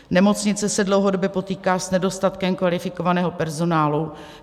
Nemocnice se dlouhodobě potýká s nedostatkem kvalifikovaného personálu.